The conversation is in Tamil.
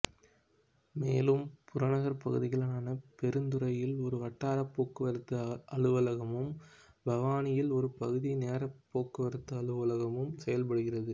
மேலும் புற நகர்ப்பகுதிகளான பெருந்துறையில் ஒரு வட்டாரப் போக்குவரத்து அலுவலகமும் பவானியில் ஒரு பகுதி நேரப் போக்குவரத்து அலுவலகமும் செயல்படுகிறது